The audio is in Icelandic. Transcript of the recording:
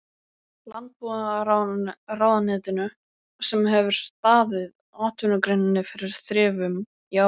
Landbúnaðarráðuneytinu sem hefur staðið atvinnugreininni fyrir þrifum í áratugi!